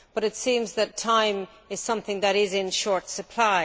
But it seems that time is something that is in short supply.